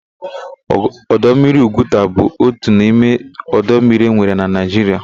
Ọdọ mmiri Ugwuta bụ otu n'ime ọdọ mmiri enwere na Naịjiria.